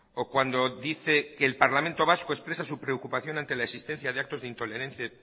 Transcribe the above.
o cuando dice que el parlamento vasco expresa su preocupación ante la existencia de actos de intolerancia